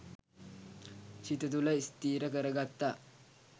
සිත තුළ ස්ථිර කරගත්තා.